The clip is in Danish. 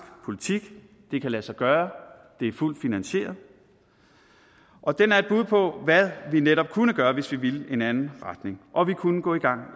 politik det kan lade sig gøre det er fuldt finansieret og den er et bud på hvad vi netop kunne gøre hvis vi ville i en anden retning og vi kunne gå i gang